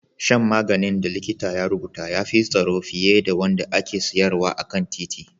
Shan maganin da likita ya rubuta ya fi tsaro fiye da wanda ake sayarwa a kan titi